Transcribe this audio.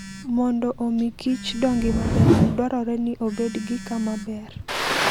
Mondo omi kichodongi maber, dwarore ni obed gi kama ber.